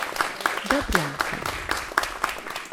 добрянку